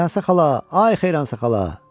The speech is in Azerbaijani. Xeyransə xala, ay Xeyransə xala!